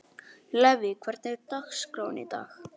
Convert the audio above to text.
Levý, hvernig er dagskráin í dag?